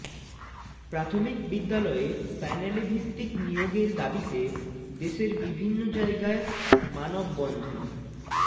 প্রাথমিক বিদ্যালয়ে প্যানেলেভিত্তিক নিয়োগের দাবিতে দেশের বিভিন্ন জায়গায় মানববন্ধন